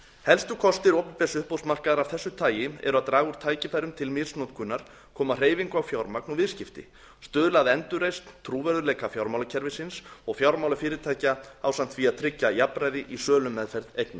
helstu kostir opinbers uppboðsmarkaðar af þessu tagi eru að draga úr tækifærum til misnotkunar koma hreyfingu á fjármagn og viðskipti stuðla að endurreisn trúverðugleika fjármálakerfisins og fjármálafyrirtækja ásamt því að tryggja jafnræði í sölumeðferð eigna